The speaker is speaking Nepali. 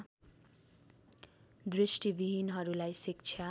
दृष्टिविहीनहरूलाई शिक्षा